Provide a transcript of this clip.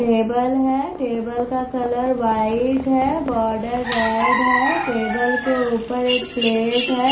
Table है table का colour white है बॉर्डर रेड है टेबल के ऊपर एक प्लेट है।